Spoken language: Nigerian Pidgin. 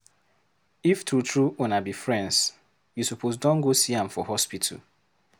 If true true una be friends, you suppose don go see am for hospital.